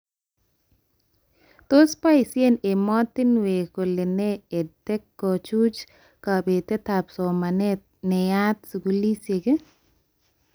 Tos boishee ematinwek kole nee EdTech kochuch kabetetab somanet neyat skulishek?